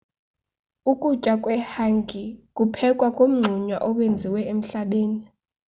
ukutya kwehangi kuphekwa kumngxunya owenziwe emhlabeni